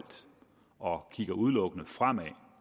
og kigger udelukkende fremad